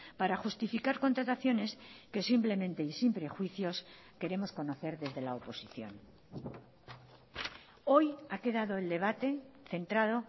para justificar contrataciones que simplemente y sin prejuicios queremos conocer desde la oposición hoy ha quedado el debate centrado